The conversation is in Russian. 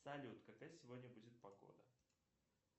салют какая сегодня будет погода